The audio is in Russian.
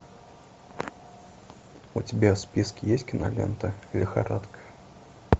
у тебя в списке есть кинолента лихорадка